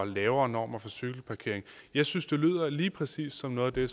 lavere normer for cykelparkering jeg synes det lyder lige præcis som noget af det